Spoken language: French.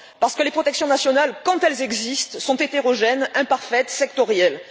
Parce que les protections nationales, quand elles existent, sont hétérogènes, imparfaites, sectorielles.